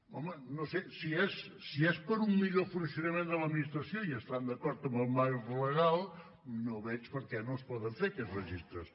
home no sé si és per a un millor funcionament de l’administració i estan d’acord amb el marc legal no veig per què no es poden fer aquests registres